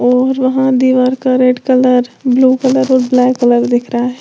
और वहां दीवार का रेड कलर ब्लू कलर और ब्लैक कलर दिख रहा है।